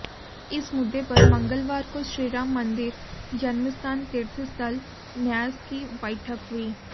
इस मुद्दे पर मंगलवार को श्रीराम मंदिर जन्मस्थान तीर्थ स्थल न्यास की बैठक हुई